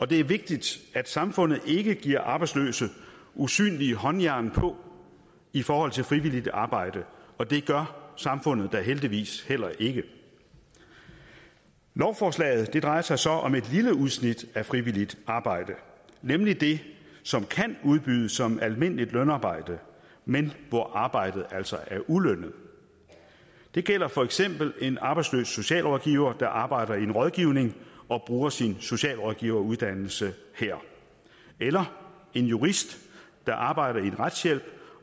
det er vigtigt at samfundet ikke giver arbejdsløse usynlige håndjern på i forhold til frivilligt arbejde og det gør samfundet da heldigvis heller ikke lovforslaget drejer sig så om et lille udsnit af frivilligt arbejde nemlig det som kan udbydes som almindeligt lønarbejde men hvor arbejdet altså er ulønnet det gælder for eksempel en arbejdsløs socialrådgiver der arbejder i en rådgivning og bruger sin socialrådgiveruddannelse her eller en jurist der arbejder i en retshjælp